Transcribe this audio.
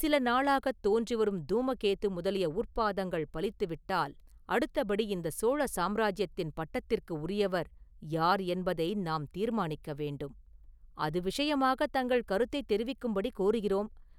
சில நாளாகத் தோன்றி வரும் தூமகேது முதலிய உற்பாதங்கள் பலித்து விட்டால், அடுத்தபடி இந்தச் சோழ சாம்ராஜ்யத்தின் பட்டத்திற்கு உரியவர் யார் என்பதை நாம் தீர்மானிக்க வேண்டும்.” “அது விஷயமாகத் தங்கள் கருத்தைத் தெரிவிக்கும்படி கோருகிறோம்.